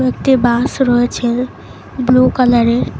একটি বাস রয়েছে ব্লু কালারের।